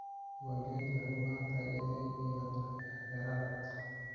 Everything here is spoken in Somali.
Diiwaangelintu waxay u baahan tahay inay yeelato xeerar cad.